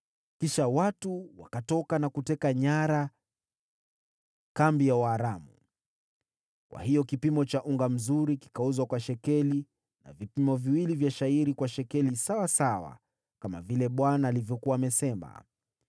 Kisha watu wakatoka na kuteka nyara kambi ya Waaramu. Kwa hiyo kipimo cha unga mzuri kikauzwa kwa shekeli, na vipimo viwili vya shayiri kwa shekeli, kama vile Bwana alivyokuwa amesema.